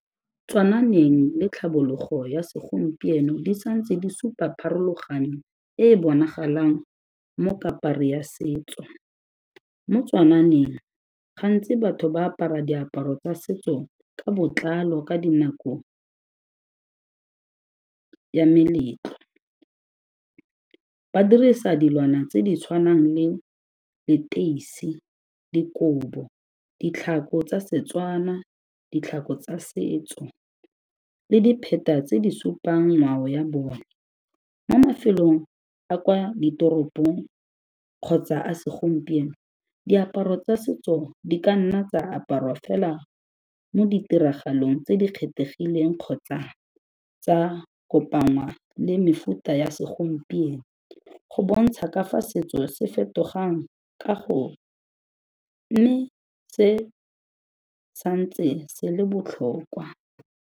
le tlhabologo ya segompieno di sa ntse di supa pharologano e e bonagalang mo kapari ya setso. Mo gantsi batho ba apara diaparo tsa setso ka botlalo ka dinako ya meletlo. Ba dirisa dilwana tse di tshwanang le leteisi, dikobo, ditlhako tsa Setswana, ditlhako tsa setso le dipheta tse di supang ngwao ya bone. Mo mafelong a kwa ditoropong kgotsa a segompieno, diaparo tsa setso di ka nna tsa aparwa fela mo ditiragalong tse di kgethegileng kgotsa tsa kopangwa le mefuta ya segompieno go bontsha ka fa setso se fetogang ka go se sa ntse se le botlhokwa.